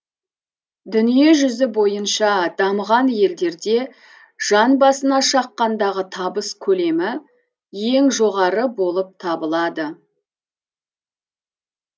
дүниежүзі бойынша дамыған елдерде жан басына шаққандағы табыс көлемі ең жоғары болып табылады